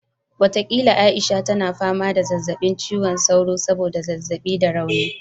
Watakila Aisha tana fama da zazzabin cizon sauro saboda zazzabi da rauni